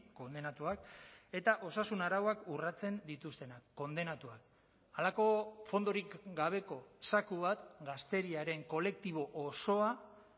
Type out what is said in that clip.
kondenatuak eta osasun arauak urratzen dituztenak kondenatuak halako fondorik gabeko zaku bat gazteriaren kolektibo osoa